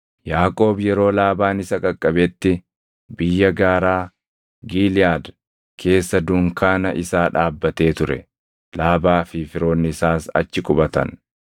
Yaaqoob yeroo Laabaan isa qaqqabetti, biyya gaaraa Giliʼaad keessa dunkaana isaa dhaabbatee ture; Laabaa fi firoonni isaas achi qubatan.